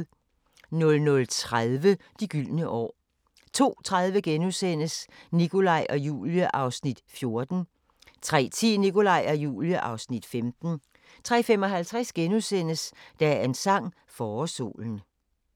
00:30: De gyldne år 02:30: Nikolaj og Julie (Afs. 14)* 03:10: Nikolaj og Julie (Afs. 15) 03:55: Dagens sang: Forårssolen *